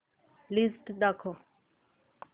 list दाखव